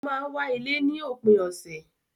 O máa n wá ilé ní òpin ọ̀sẹ̀